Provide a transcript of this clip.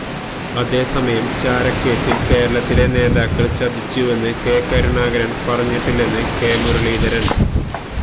അതേസമയം ചാരക്കേസില് കേരളത്തിലെ നേതാക്കള് ചതിച്ചുവെന്ന് കെ കരുണാകരന് പറഞ്ഞിട്ടില്ലെന്ന് കെ മുരളീധരന്